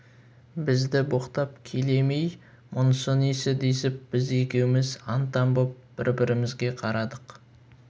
бізді боқтап келе ме-ей мұнысы несі десіп біз екеуміз аң-таң боп бір-бірімізге қарадық